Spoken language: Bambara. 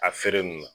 A feere nunnu na